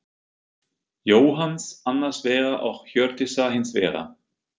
Jóhanns, annars vegar og Hjördísar hins vegar.